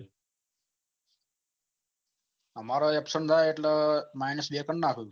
આમરે absent થાય એટલે minus બે કરી નાખે